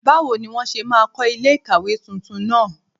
Báwo ni wọ́n ṣe máa kọ́ ilé ìkàwé tuntun náà?